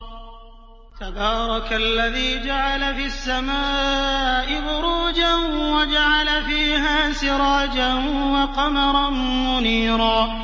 تَبَارَكَ الَّذِي جَعَلَ فِي السَّمَاءِ بُرُوجًا وَجَعَلَ فِيهَا سِرَاجًا وَقَمَرًا مُّنِيرًا